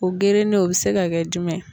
O gerenen o be se ka kɛ jumɛn ye?